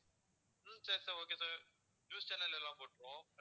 உம் சரி sir okay sir news channels எல்லாம் போட்டுருவோம் அடுத்து